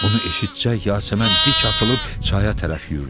Bunu eşitsək, Yasəmən dik atılıb çaya tərəf yüyürdü.